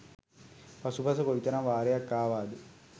පසුපස කොයිතරම් වාරයක් ආවාද?